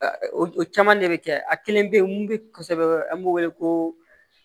Caman de bɛ kɛ a kelen bɛ ye mun bi kosɛbɛ an b'o wele ko